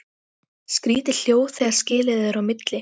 Skrýtið hljóð þegar skilið er á milli.